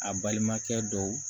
A balimakɛ dɔw